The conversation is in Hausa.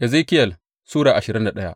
Ezekiyel Sura ashirin da daya